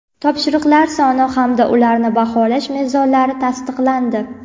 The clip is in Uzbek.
topshiriqlar soni hamda ularni baholash mezonlari tasdiqlandi.